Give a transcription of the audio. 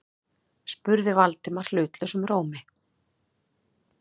spurði Valdimar hlutlausum rómi.